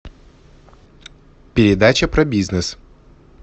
передача про бизнес